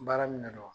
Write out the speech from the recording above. Baara minɛ dɔrɔn